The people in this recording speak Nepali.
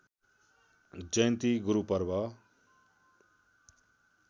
जयन्ती गुरु पर्ब